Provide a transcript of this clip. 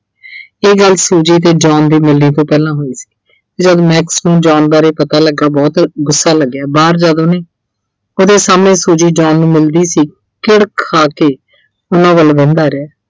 ਇਹ ਗੱਲ Suji ਤੇ John ਦੇ ਮਿਲਣੇ ਤੋਂ ਪਹਿਲਾਂ ਹੋਈ ਸੀ। ਜਦ Max ਨੂੰ John ਬਾਰੇ ਪਤਾ ਲੱਗਾ, ਬਹੁਤ ਗੁੱਸਾ ਲੱਗਿਆ ਬਾਹਰ ਜਦ ਉਹਨੇ ਉਹਦੇ ਸਾਹਮਣੇ Suji, John ਨੂੰ ਮਿਲਦੀ ਸੀ, ਚਿੜ ਖਾ ਕੇ ਉਹਨਾਂ ਵੱਲ ਵੇਖਦਾ ਰਿਹਾ।